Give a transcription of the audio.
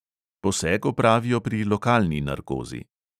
Poseg opravijo pri lokalni narkozi.